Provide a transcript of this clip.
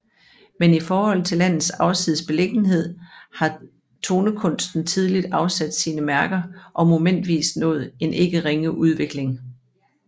Men i forhold til landets afsides beliggenhed har tonekunsten tidligt afsat sine mærker og momentvis nået en ikke ringe udvikling